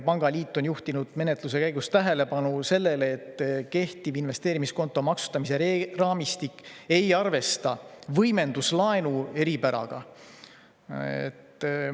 Pangaliit on juhtinud menetluse käigus tähelepanu sellele, et kehtiv investeerimiskonto maksustamise raamistik ei arvesta võimenduslaenu eripäraga.